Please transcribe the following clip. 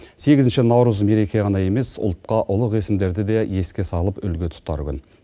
сегізінші наурыз мереке ғана емес ұлтқа ұлық есімдерді де еске салып үлгі тұтар күн